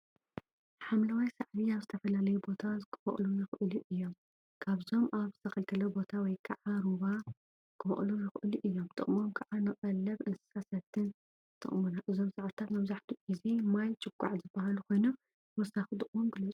ሓምለዋይ ሳዕሪ አብ ዝተፈላለየ ቦታ ክበቅሉ ይእክሉ እዮም፡፡ እዞም አብ ዝተከልከለ ቦታ ወይ ከዓ ሩባ ክበቅሉ ይክእሉ እዮም፡፡ ጥቅሞም ከዓ ንቀለበ እንስሳን ንሰቲን ይጠቅሙና፡፡ እዞም ሳዕሪታት መብዛሕትኡ ግዜ ማይ ጭቋዕ ዝበሃሉ ኮይኖም፤ ተወሳኪ ጥቅሞም ግለፁ፡፡